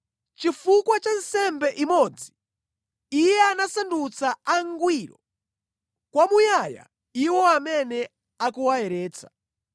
Chifukwa cha nsembe imodzi Iye anasandutsa angwiro kwamuyaya iwo amene akuwayeretsa.